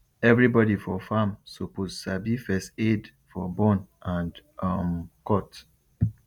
everybody for farm suppose sabi first aid for burn and um cut